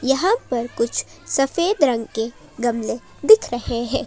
यहां पर कुछ सफेद रंग के गमले दिख रहे हैं।